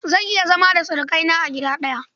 Zan iya zama da surukaina a gida ɗaya.